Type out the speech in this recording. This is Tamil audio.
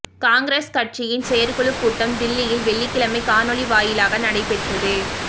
காங்கிரஸ் கட்சியின் செயற்குழுக் கூட்டம் தில்லியில் வெள்ளிக்கிழமை காணொலி வாயிலாக நடைபெற்றது